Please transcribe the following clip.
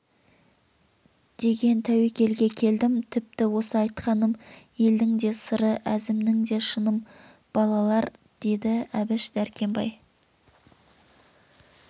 деген тәуекелге келдім тіпті осы айтқаным елдің де сыры әзімнің де шыным балалар деді әбіш дәркембай